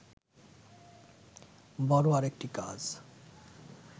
বড় আরেকটি কাজ